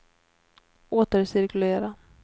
återcirkulera